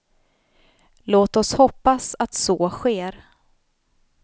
Låt oss hoppas att så sker.